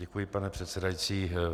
Děkuji, pane předsedající.